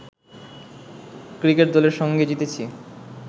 cricket দলের সঙ্গে জিতেছি